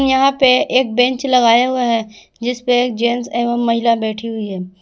यहां पे एक बेंच लगाया हुआ है जिस पे एक जेंट्स एवं महिला बैठी हुई है।